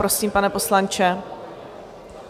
Prosím, pane poslanče.